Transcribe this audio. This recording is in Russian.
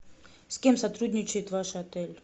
с кем сотрудничает ваш отель